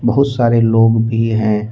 बहुत सारे लोग भी हैं।